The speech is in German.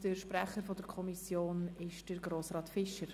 Der Sprecher der Kommission ist Grossrat Fischer.